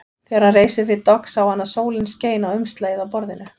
Þegar hann reis upp við dogg sá hann að sólin skein á umslagið á borðinu.